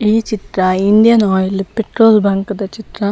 ಈ ಚಿತ್ರ Indian Oil petrol bunk ದ ಚಿತ್ರ